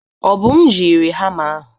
Obum jiri hamma ahụ.